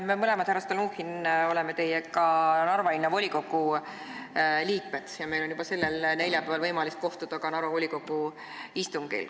Me mõlemad, härra Stalnuhhin, oleme teiega Narva Linnavolikogu liikmed ja meil on juba sellel neljapäeval võimalik kohtuda ka Narva volikogu istungil.